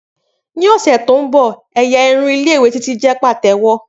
Ni ọsẹ to nbọ ẹ́yá irun ni Ile-iwe Titi jẹ patewo.